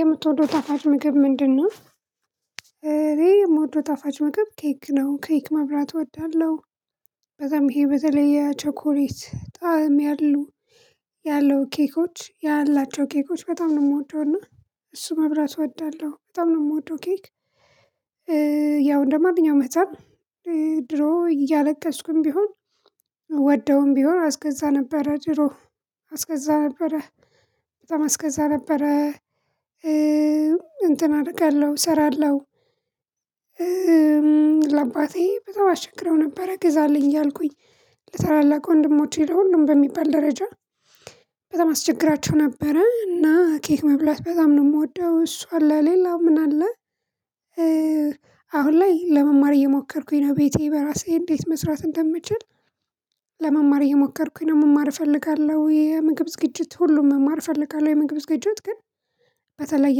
የምትወደው ጣፋጭ ምግብ ምንድነው? የምወደው ጣፋጭ ምግብ ኬክ ነው ኬክ መብላት እወዳለሁ። በጣም ይሄ በተለይ የቸኮሌት ጣዕም ያለው። ያለው ኬኮች ያላቸው ኬኮች በጣም ነው የምወደው እና እሱን መብላት እወዳለሁ በጣም ነው የምወደው ኬክ። ያው እንደማንኛውም ህፃን ድሮ እያለቀስኩም ቢሆን ወደውም ቢሆን አስገዛ ነበረ ድሮ አስገዛ ነበረ በጣም አስገዛ ነበረ። እንትን አደርጋለሁ እሰራለሁ። ለአባቴ በጣም አሸክቸግረው ነበረ ገዛልኝ እያልኩኝ ለታላላቅ ወንድሞቼ ለሁሉም በሚባል ደረጃ። በጣም አስቸግራቸው ነበረ እና ኬክ መብላት በጣም ነው የምወደው። እሱ አለ ሌላው ምን አለ? ላይ ለመማር እየሞከርኩኝ ነው ቤቴ በራሴ እንዴት መስራት እንደምችል። ለመማር እየሞከርኩኝ ነው መማር እፈልጋለሁ። የምግብ ዝግጅት ሁሉም መማር እፈልጋለሁ። የምግብ ዝግጅት ግን በተለየ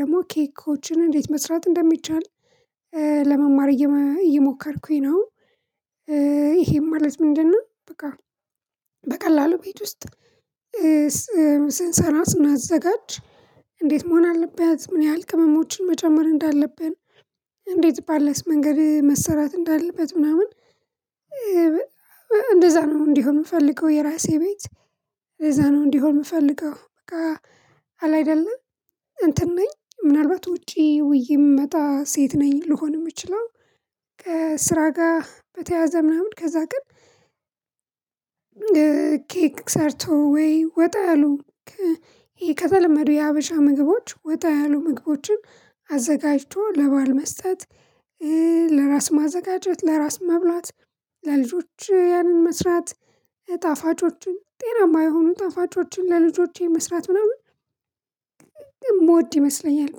ደግሞ ኬኮችን እንዴት መስራት እንደሚቻል ለመማር እየሞከርኩኝ ነው። ይሄም ማለት ምንድነው? በቃ በቀላሉ ቤት ውስጥ። ስንሰራ ስናዘጋጅ እንዴት መሆን አለበት ምን ያህል ቅመሞችን መጨመር እንዳለብን እንዴት ባለስ መንገድ መሰራት እንዳለበት ምናምን። እንደዛ ነው እንዲሆን የምፈልገው የራሴ ቤት እዛ ነው እንዲሆን የምፈልገው። በቃ አለ አይደለም እንትን ነኝ ምናልባት ውጪ ውዬ የምመጣ ሴት ነኝ ልሆን የምችለው። ከስራ ጋር በተያያዘ ምናምን ከዛ ግን። ኬክ ሰርቶ ወይ ወጣ ያሉ ከተለመዱ የሀበሻ ምግቦች ወጣ ያሉ ምግቦችን አዘጋጅቶ ለባል መስጠት። ለራስ ማዘጋጀት ለራስ መብላት ለልጆች ያንን መስራት ጣፋጮችን ጤናማ የሆኑ ጣፋጮችን ለልጆቼ መስራት ምናምን። የምወድ ይመስለኛል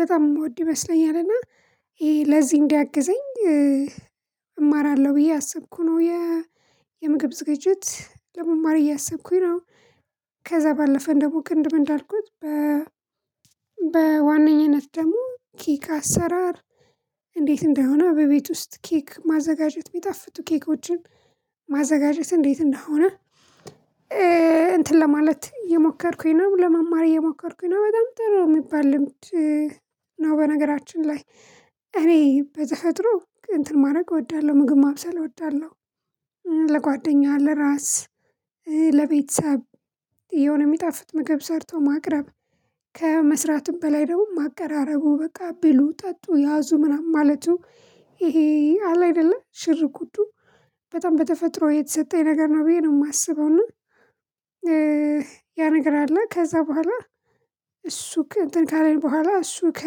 በጣም የምወድ ይመስለኛል። እና ይሄ ለዚህ እንዲያግዘኝ እማራለሁ ብዬ አሰብኩ ነው። የ የምግብ ዝግጅት ለመማር እያሰብኩኝ ነው። ከዛ ባለፈን ደግሞ ቅድም እንዳልኩት በ በዋነኝነት ደግሞ ኬክ አሰራር። እንዴት እንደሆነ በቤት ውስጥ ኬክ ማዘጋጀት የሚጣፍጡ ኬኮችን ማዘጋጀት እንዴት እንደሆነ። እንትን ለማለት የሞከርኩኝ ነው ለመማር የሞከርኩኝ ነው። በጣም ጥሩ የሚባል ነው። በነገራችን ላይ እኔ በተፈጥሮ እንትን ማድረግ እወዳለሁ ምግብ ማብሰል እወዳለሁ። ለጓደኛ አለ ራስ ለቤተሰብ የሆነ የሚጣፍጥ ምግብ ሰርቶ ማቅረብ። ከመስራቱም በላይ ደግሞ ማቀራረቡ በቃ ብሉ ጠጡ ያዙ ምናምን ማለቱ። ይሄ አለ አይደለ ሽርጉዱ በጣም በተፈጥሮ የተሰጠኝ ነገር ነው ብዬ ነው የማስበው ኑር ነው። ያ ነገር አለ ከዛ በኋላ። እሱ እንትን ካለኝ በኋላ እሱ ከ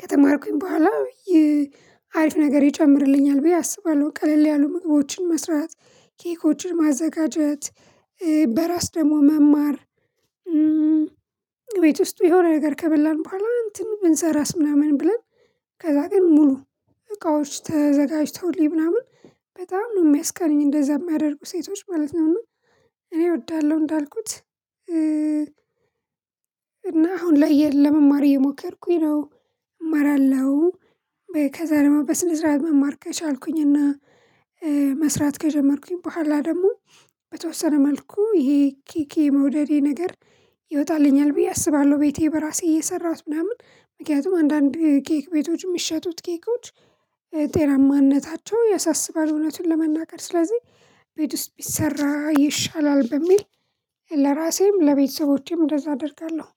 ከተማርኩኝ በኋላ ይህ አሪፍ ነገር ይጨምርልኛል ብዬ አስባለሁ። ቀለል ያሉ ምግቦችን መስራት ኬኮችን ማዘጋጀት። በራስ ደግሞ መማር። ቤት ውስጥ የሆነ ነገር ከበላን ባኋላ እንትን ብንሰራስ ምናምን ብለን። ከዛ ግን ሙሉ እቃዎች ተዘጋጅተውልኝ ምናምን በጣም ነው የሚያስቀኑኝ እንደዛ የሚያደርጉ ሴቶች ማለት ነው። እኔ እወዳለሁ እንዳልኩት። እና አሁን ለመማር እየሞከርኩኝ ነው እማራለሁ። ከዛ ደግሞ በስነ ስርዓት መማር ከቻልኩኝና መስራት ከጀመርኩኝ በኋላ ደግሞ በተወሰነ መልኩ ይሄ ኬክ የመውደዴ ነገር ይወጣልኛል ብዬ አስባለሁ። ቤቴ በራሴ እየሰራሁት ምናምን ምክንያቱም አንዳንድ ኬክ ቤቶች የሚሸጡት ኬኮች ጤናማነታቸው ያሳስባል እውነቱን ለመናገር ስለዚህ ቤት ውስጥ ቢሰራ ይሻላል በሚል። ለራሴም ለቤተሰቦቼም እንደዛ አደርጋለሁ።